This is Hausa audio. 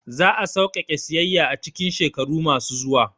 Za a sauƙaƙe siyayya a cikin shekaru masu zuwa